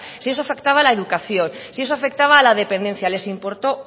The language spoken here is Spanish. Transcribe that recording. si eso afectaba a la educación si eso afectaba a la dependencia les importó